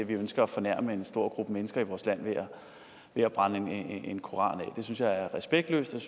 ønske at fornærme en stor gruppe mennesker i vores land ved at brænde en koran af det synes jeg er respektløst og